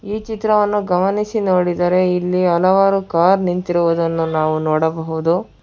ಈ ಚಿತ್ರವನ್ನು ಗಮನಿಸಿ ನೋಡಿದರೆ ಇಲ್ಲಿ ಹಲವಾರು ಕಾರ್ ನಿಂತಿರುವುದನ್ನು ನಾವು ನೋಡಬಹುದು.